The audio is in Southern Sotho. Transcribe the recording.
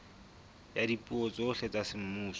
ya dipuo tsohle tsa semmuso